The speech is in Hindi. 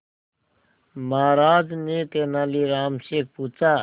महाराज ने तेनालीराम से पूछा